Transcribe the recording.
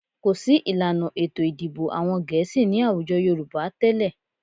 Kò sí ìlànà ètò ìdìbò àwọn Gẹ̀ẹ́sì ní àwùjọ Yorùbá tẹ́lẹ̀